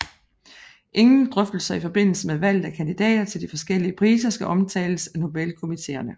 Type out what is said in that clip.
Ingen drøftelser i forbindelse med valget af kandidater til de forskellige priser skal omtales af Nobelkomiteerne